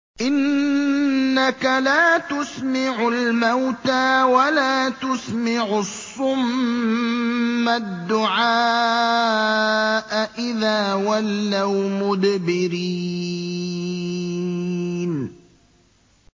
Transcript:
إِنَّكَ لَا تُسْمِعُ الْمَوْتَىٰ وَلَا تُسْمِعُ الصُّمَّ الدُّعَاءَ إِذَا وَلَّوْا مُدْبِرِينَ